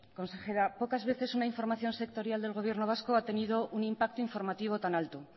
consejera pocas veces una información sectorial del gobierno vasco ha tenido un impacto informativo tan alto